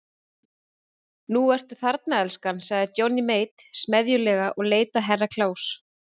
Nú ertu þarna elskan, sagði Johnny Mate smeðjulega og leit á Herra Kláus.